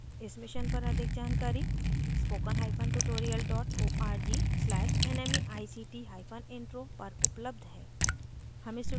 इस mission पर अधिक जानकारी spokentutorial org/nmeictintro पर उपलब्ध है